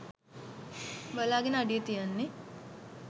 බලාගෙන අඩිය තියන්නේ